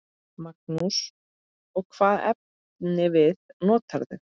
Magnús: Og hvaða efnivið notarðu?